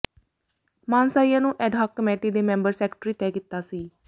ਮਾਨਸਾਹੀਆ ਨੂੰ ad hoc committee ਦੇ member secretary ਤੈਅ ਕੀਤਾ ਸੀ